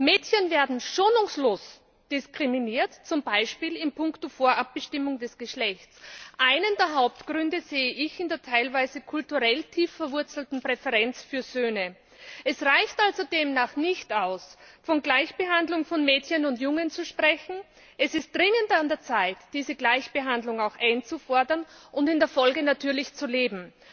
Mädchen werden schonungslos diskriminiert, zum Beispiel in puncto Vorabbestimmung des Geschlechts. Einen der Hauptgründe sehe ich in der teilweise kulturell tief verwurzelten Präferenz für Söhne. Es reicht also demnach nicht aus, von Gleichbehandlung von Mädchen und Jungen zu sprechen, es ist dringend an der Zeit, diese Gleichbehandlung auch einzufordern und sie in der Folge natürlich zu leben.